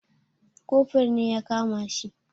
Kofur ne ya kama shi.